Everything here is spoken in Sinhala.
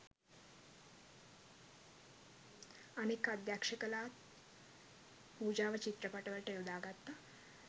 අනෙක් අධ්‍යක්ෂලාත් පූජාව චිත්‍රපටවලට යොදා ගත්තා.